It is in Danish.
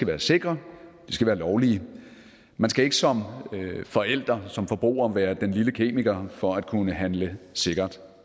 være sikre de skal være lovlige man skal ikke som forældre som forbruger være den lille kemiker for at kunne handle sikkert